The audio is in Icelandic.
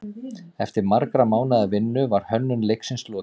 Eftir margra mánaða vinnu var hönnun leiksins lokið.